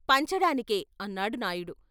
"పంచడానికే " అన్నాడు నాయుడు.